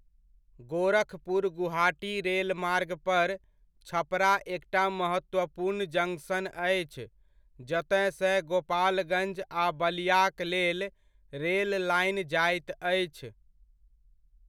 गोरखपुर गुवाहाटी रेलमार्ग पर, छपरा एकटा महत्वपूर्ण जंक्शन अछि, जतयसँ गोपालगञ्ज आ बलियाक लेल रेल लाइन जाइत अछि।